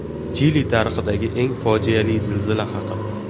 Chili tarixidagi eng fojiali zilzila haqida.